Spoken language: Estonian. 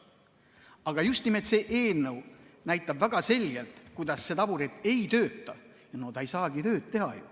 Aga just nimelt see eelnõu näitab väga selgelt, kuidas see taburet ei tööta ja ta ei saagi tööd teha.